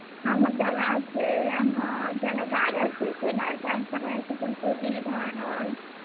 ଆମର୍ ଜାଗା ଅଛେ, ଆମର୍ ଜାଗା ଗାଁ ରେ ଅଛେ, ସେନ ଚାଷ୍ କରାହେସି, ଫୁଲ କୁବି, ଧାନ ଆଉ।